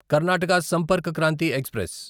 Karnataka Sampark Kranti express